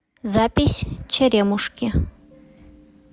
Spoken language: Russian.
запись черемушки